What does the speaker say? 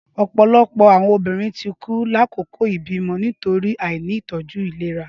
Ọpọlọpọ awọn obirin ti ku lakoko ibimọ nitori aini itọju ilera